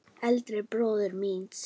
Eldri bróður míns?